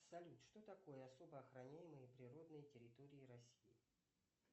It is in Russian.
салют что такое особо охраняемые природные территории россии